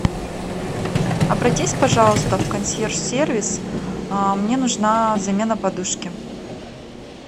обратись пожалуйста в консьерж сервис мне нужна замена подушки